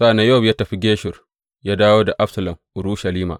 Sa’an nan Yowab ya tafi Geshur ya dawo da Absalom Urushalima.